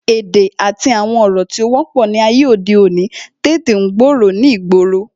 Èdè àti àwọn ọ̀rọ̀ tí ó wọ́pọ̀ ni ayé òde òní tètè ń gbòòrò ni ìgboro